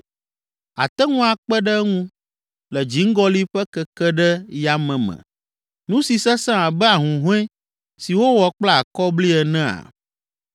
àte ŋu akpe ɖe eŋu le dziŋgɔli ƒe keke ɖe yame me, nu si sesẽ abe ahuhɔ̃e si wowɔ kple akɔbli enea?